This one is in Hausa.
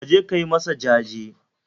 kaje ka yi masa jaje?